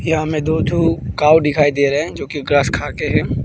यहाँ में दो ठो काऊ दिखाई दे रहे हैं जोकि ग्रास खाके हैं।